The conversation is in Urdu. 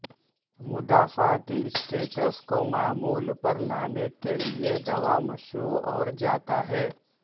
مدافعتی اسٹیٹس کو معمول پر لانے کے لیے دوا مشروع اور جاتا ہے